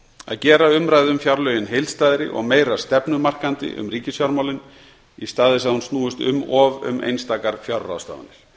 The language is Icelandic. að gera umræðu um fjárlögin heildstæðari og meira stefnumarkandi um ríkisfjármálin í stað þess að hún snúist um of um einstakar fjárráðstafanir